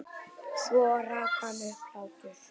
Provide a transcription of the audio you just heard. Svo rak hann upp hlátur.